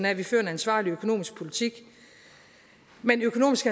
af at vi fører en ansvarlig økonomisk politik men økonomisk